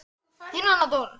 Þín Anna Dóra.